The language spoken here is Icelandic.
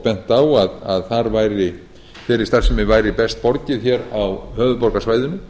bent á að þeirri starfsemi væri best borgið hér á höfuðborgarsvæðinu